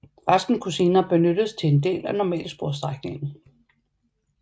Resten kunne senere benyttes til en del af normalsporsstrækningen